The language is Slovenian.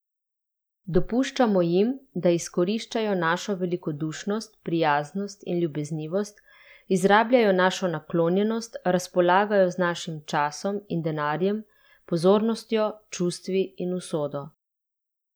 Dopuščamo jim, da izkoriščajo našo velikodušnost, prijaznost in ljubeznivost, izrabljajo našo naklonjenost, razpolagajo z našim časom in denarjem, pozornostjo, čustvi in usodo.